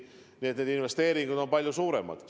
Nii et need investeeringud on palju suuremad.